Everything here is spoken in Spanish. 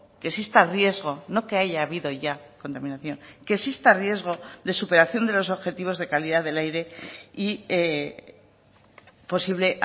que exista riesgo no que haya habido ya contaminación que exista riesgo de superación de los objetivos de calidad del aire y posible